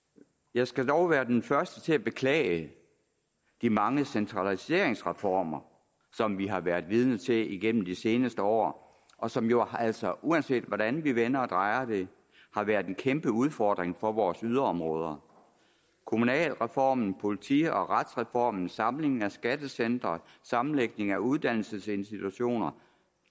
jeg skal dog være den første til at beklage de mange centraliseringsreformer som vi har været vidne til igennem de seneste år og som jo altså uanset hvordan vi vender og drejer det har været en kæmpe udfordring for vores yderområder kommunalreformen politi og retsreformen samlingen af skattecentre sammenlægning af uddannelsesinstitutioner